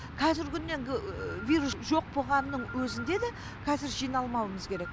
қазіргі күн енді вирус жоқ боғанның өзінде да кәзір жиналмауымыз керек